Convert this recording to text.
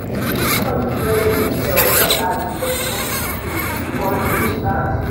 somebody press the bell just as the documentary twist want to start.